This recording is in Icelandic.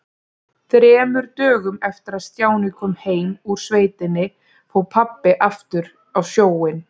Þremur dögum eftir að Stjáni kom heim úr sveitinni fór pabbi aftur á sjóinn.